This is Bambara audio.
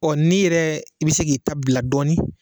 Ɔ n'i yɛrɛ i bɛ se k'i ta bila dɔɔnin